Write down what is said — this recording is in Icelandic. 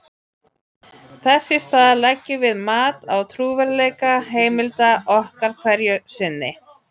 þess í stað leggjum við mat á trúverðugleika heimilda okkar hverju sinni